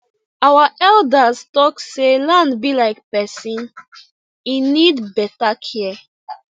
our elders talk say land be like person e need beta care